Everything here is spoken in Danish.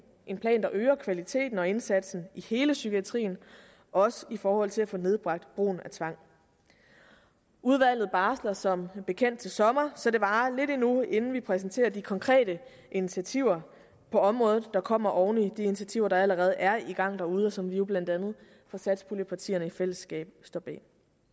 en plan der øger kvaliteten og indsatsen i hele psykiatrien også i forhold til at få nedbragt brugen af tvang udvalget barsler som bekendt til sommer så det varer lidt endnu inden vi præsenterer de konkrete initiativer på området der kommer oven i de initiativer der allerede er i gang derude og som vi jo blandt andet fra satspuljepartiernes side i fællesskab står bag